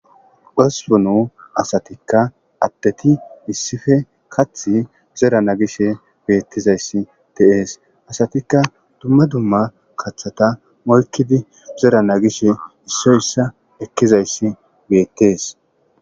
hospunu asatikka addeti issife kath zerana gishe beettizayssi tees asatikka duma duma kaththata molkidi zerana gishe issoyssa ekkizayssi beettees